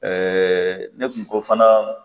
Ɛɛ ne kun ko fana